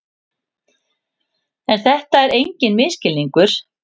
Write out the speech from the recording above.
En þetta var enginn misskilningur.